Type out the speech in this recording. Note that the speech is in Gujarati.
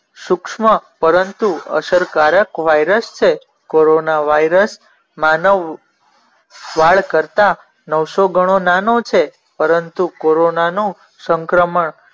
સૂક્ષ્મ પરંતુ અસરકારક વાયરસ છે. કોરોના વાયરસ માનવ વાળ કરતાં નવસો ગણો નાનો છે પરંતુ કોરોનાનો સંક્રમણ